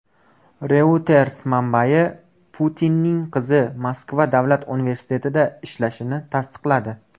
Reuters manbasi Putinning qizi Moskva davlat universitetida ishlashini tasdiqladi.